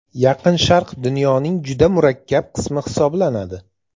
Yaqin Sharq dunyoning juda murakkab qismi hisoblanadi.